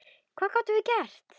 Hvað gátum við gert?